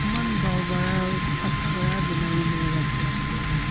eman bhal para sapha para banaikena rakhi ase.